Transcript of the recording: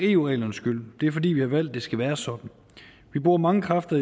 eu reglernes skyld det er fordi vi har valgt at det skal være sådan vi bruger mange kræfter